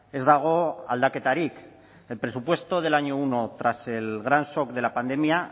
ez dago aldaketarik el presupuesto del año uno tras el gran shock de la pandemia